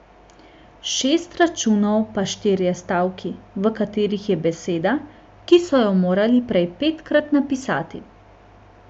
Šest računov pa štirje stavki, v katerih je beseda, ki so jo morali prej petkrat napisati.